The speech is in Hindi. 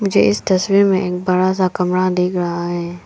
मुझे इस तस्वीर में एक बड़ा सा कमरा देख रहा है।